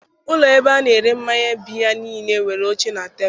Ụlọ ebe a na-ere mmanya biya niile nwere oche na tebụl.